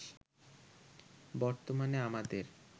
বর্তমানে আমাদের